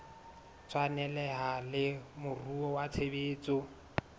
tshwaneleha le moruo wa tshebetso